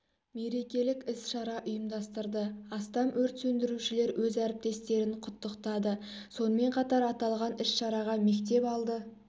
мерекелік іс-шара ұйымдастырды астам өрт сөндірушілер өз әріптестерін құттықтады сонымен қатар аталған іс-шараға мектеп алды